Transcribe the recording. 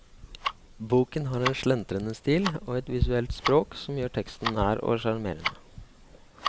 Boken har en slentrende stil og et visuelt språk som gjør teksten nær og sjarmerende.